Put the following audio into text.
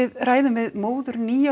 ræðum við móður níu ára